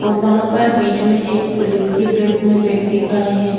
और वहाँ पर बीच मे एक पुलिस के ड्रेस मे एक व्यक्ति खड़े हैं।